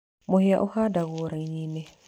Mũhĩa ũhandagwo raini-nĩ.